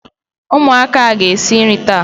Umuaka ga esi nri taa